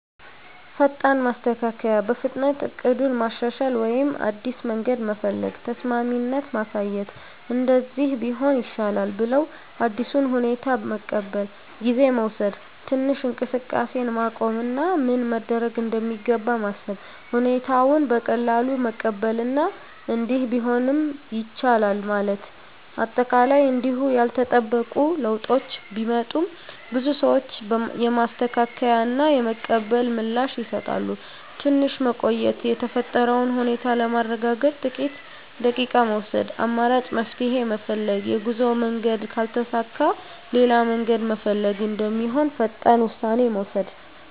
ፈጣን ማስተካከያ – በፍጥነት እቅዱን ማሻሻል ወይም አዲስ መንገድ መፈለግ። ተስማሚነት ማሳየት – “እንደዚህ ቢሆን ይሻላል” ብለው አዲሱን ሁኔታ መቀበል። ጊዜ መውሰድ – ትንሽ እንቅስቃሴን ማቆም እና ምን መደረግ እንደሚገባ ማሰብ። ሁኔታውን በቀላሉ መቀበል እና “እንዲህ ቢሆንም ይቻላል” ማለት። አጠቃላይ እንዲሁ ያልተጠበቁ ለውጦች ቢመጡም፣ ብዙ ሰዎች የማስተካከያ እና የመቀበል ምላሽ ይሰጣሉ። ትንሽ መቆየት – የተፈጠረውን ሁኔታ ለማረጋገጥ ጥቂት ደቂቃ መውሰድ። አማራጭ መፍትሄ ፈልግ – የጉዞ መንገድ ካልተሳካ ሌላ መንገድ መፈለግ እንደሚሆን ፈጣን ውሳኔ መውሰድ።